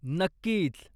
नक्कीच.